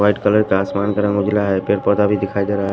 White colour का आसमान का रंग उजला है पेड़ पौधा भी दिखाई दे रहा है।